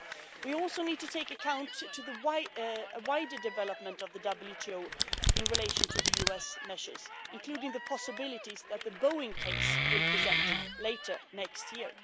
We also need to take account of a wider development of the WTO in relation to the US measures, including the possibilities that the Boeing case will present later next year.